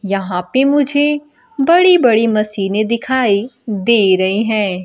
यहां पे मुझे बड़ी बड़ी मशीने दिखाई दे रही हैं।